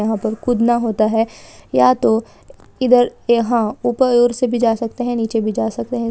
यहाँ पर कूदना होता है या तो इधर यहाँ ऊपर और से जा सकते है निचे भी जा सकते है।